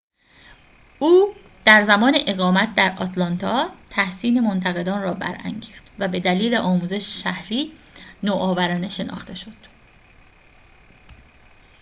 او در زمان اقامت در آتلانتا تحسین منتقدان را برانگیخت و به دلیل آموزش شهری نوآورانه شناخته شد